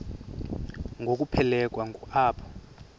ngokuphelekwa ngu apho